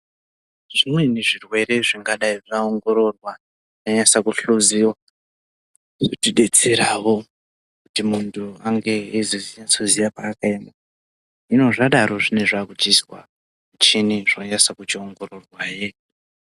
Zvimweni zvirwere zvingadai zvaongororwa zvanyatsa kuhloziwa zvinotidetseravo kuti muntu ange eizonyatsoziya paakaema. Hino zvadaro zvine zvakuchizwa muchini zvonyatso chiongororwa hee.